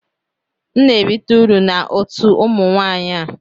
M na-erite uru na otu ụmụ nwanyị a